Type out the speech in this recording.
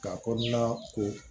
K'a kɔnɔna ko